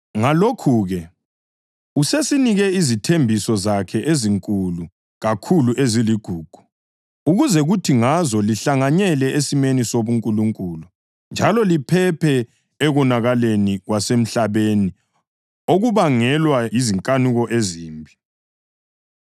Ngalokhu-ke usesinike izithembiso zakhe ezinkulu kakhulu eziligugu, ukuze kuthi ngazo lihlanganyele esimeni sobuNkulunkulu njalo liphephe ekonakaleni kwasemhlabeni okubangelwa yizinkanuko ezimbi.